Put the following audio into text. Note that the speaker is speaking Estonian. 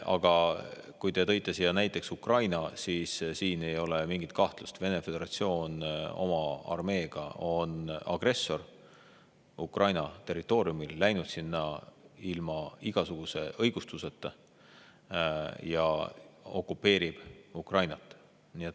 Aga kui te tõite siia näiteks Ukraina, siis siin ei ole mingit kahtlust: Vene Föderatsioon oma armeega on agressor Ukraina territooriumil, läinud sinna ilma igasuguse õigustuseta ja okupeerib Ukrainat.